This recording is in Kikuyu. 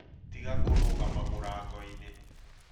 Tiga kũrũgama mũrangoinĩ